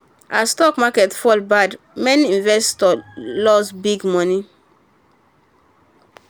as stock market fall bad many investors loss big money.